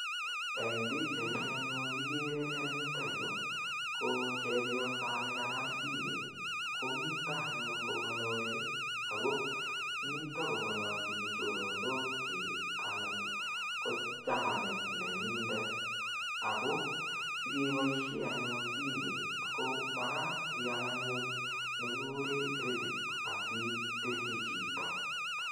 Eng pichaini anyun kigere en yuto yu ko chepyosanikanam simet, komito anyun kongalali ago mito kongalaljin choronokchik anan ko chanit nenyindet ago sigeboisie anyun simet ko magat ial anyun nekikuren credit asibirchi chito.